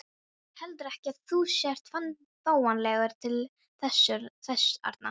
Heldurðu ekki að þú sért fáanlegur til þess arna?